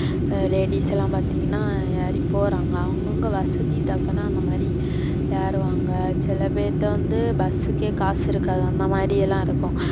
ladies எல்லாம் பார்த்திங்கனா ஏறி போறாங்க. அவங்க அவங்க வசதி டக்குனு அந்த மாரி ஏறுவாங்க சில பேருட்ட வந்து bus கே காசு இருக்காது, அந்த மாரியெல்லாம் இருக்கு.